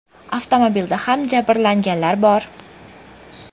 Avtomobilda ham jabrlanganlar bor.